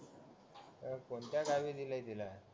पण कोणत्या गावी दिलय तिला